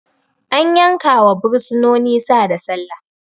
An yankawa bursinoni Sa da Sallah